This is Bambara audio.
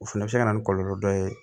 O fɛnɛ bɛ se ka na ni kɔlɔlɔ dɔ ye